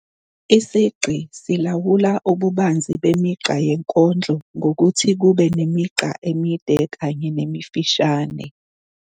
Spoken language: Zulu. Isigqi silawula ububanzi bemigqa yenkondlo ngokuthi kube nemigqa emide kanye nemifishane